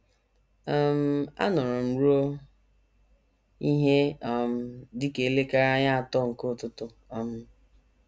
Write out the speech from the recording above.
um Anọrọ m ruo ihe um dị ka elekere anya atọ nke ụtụtụ um.